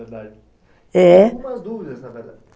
Verdade, é dúvidas, na verdade.